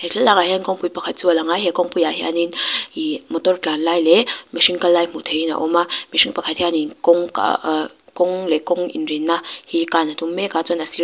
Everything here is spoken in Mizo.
he thlalakah hian kawngpui pakhat chu a lang a he kawngpuiah hianin ih motor tlan lai leh mihring kal lai hmuh theihin a awm a mihring pakhat hianin kawng aaa kawng leh kawng inrinna hi kan a tum mek a chuan a --